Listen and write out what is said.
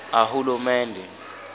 ahulumende